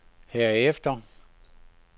herefter